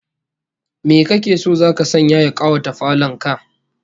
Me kake so zaka sanya ya kawata falon ka?